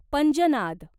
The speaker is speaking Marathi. पंजनाद